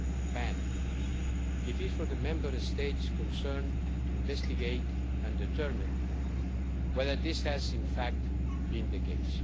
ban, it is for the Member States concerned to investigate and determine whether this has in fact been the case.